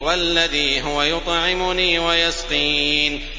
وَالَّذِي هُوَ يُطْعِمُنِي وَيَسْقِينِ